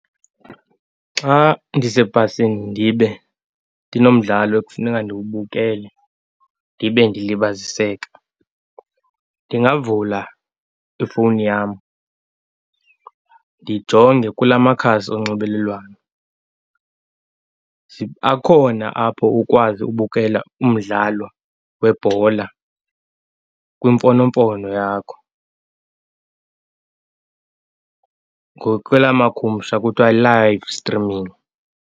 Xa ndisebhasini ndibe ndinomdlalo ekufuneka ndiwubukele ndibe ndilibaziseka, ndingavula ifowuni yam, ndijonge kula makhasi onxibelelwano. Akhona apho ukwazi ukubukela umdlalo webhola kwimfonomfono yakho, ngokwela makhumsha kuthwa live streaming.